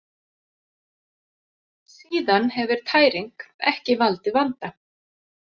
Síðan hefur tæring ekki valdið vanda.